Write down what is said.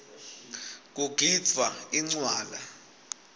kugidvwa incwala